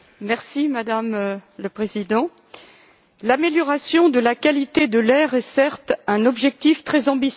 Madame la Présidente, l'amélioration de la qualité de l'air est certes un objectif très ambitieux.